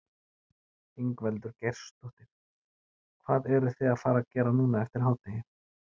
Ingveldur Geirsdóttir: Hvað eruð þið að fara gera núna eftir hádegi?